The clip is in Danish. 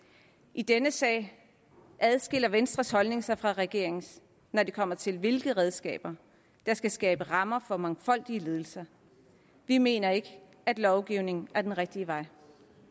i denne sag adskiller venstres holdning sig fra regeringens når det kommer til hvilke redskaber der skal skabe rammer for mangfoldige ledelser vi mener ikke at lovgivning er den rigtige vej